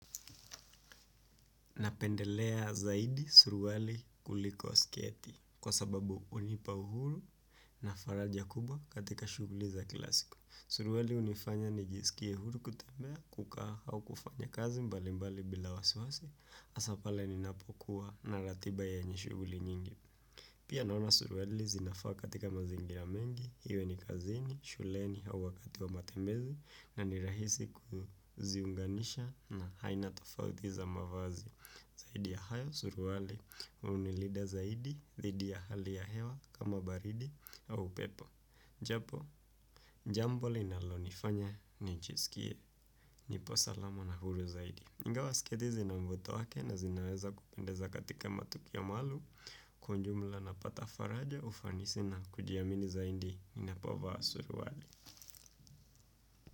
Napendelea zaidi surwali kuliko sketi kwa sababu hunipa uhuru na faraja kubwa katika shuguli za kila siku. Surwali hunifanya nijisikie uhuru kutembea kukaa au kufanya kazi mbali mbali bila wasiwasi hasa pale ninapokuwa na ratiba yenye shughuli nyingi. Pia naona surwali zinafaa katika mazingira mengi iwe ni kazini shuleni au wakati wa matembezi na ni rahisi kuziunganisha na aina tofauti za mavazi. Zaidi ya hayo surwali hunilinda zaidi dhidi ya hali ya hewa kama baridi au upepo. Japo jambo linalonifanya nijiskie nipo salama na huru zaidi ingawa sketi zina mvuto wake na zinaweza kupendeza katika matukio maluum kwa jumla napata faraja ufanisi na kujiamini zaidi ninapovaa surwali.